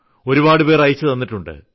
ഒരുപാടുപേർ അയച്ചുതന്നിട്ടുണ്ട്